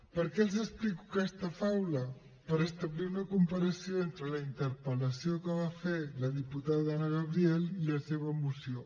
per què els explico aquesta faula per establir una comparació entre la interpel·lació que va fer la diputada anna gabriel i la seva moció